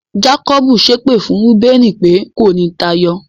Jákọ́bù ṣépè fún Rúbẹ́nì pé, kò ní táyọ.